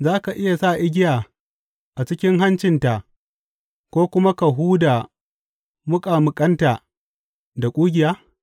Za ka iya sa igiya a cikin hancinta ko kuma ka huda muƙamuƙanta da ƙugiya?